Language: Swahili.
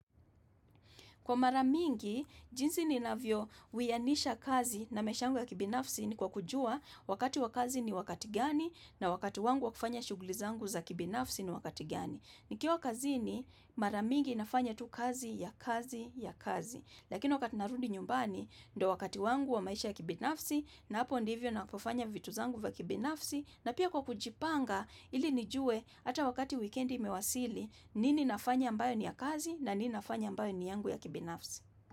Kwa mara mingi, jinsi ninavyo wiyanisha kazi na maisha yangu ya kibinafsi ni kwa kujua wakati wa kazi ni wakati gani na wakati wangu wakufanya shuguli zangu za kibinafsi ni wakati gani. Nikiwa kazini maramingi nafanya tu kazi ya kazi ya kazi. Lakini wakati narudi nyumbani, ndio wakati wangu wa maisha yangu ya kibinafsi na hapo ndivyo ninapofanya vitu zangu vya kibinafsi. Na pia kwa kujipanga ili nijue ata wakati wikendi imewasili nini nafanya ambayo ni ya kazi na nini nafanya ambayo ni yangu ya kibinafsi.